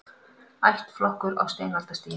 Ættflokkur á steinaldarstigi